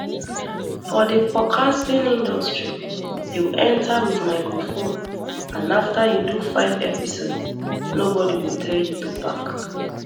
for di podcasting industry you enta wit microphone and afta you do five episodes nobodi go tell you to pack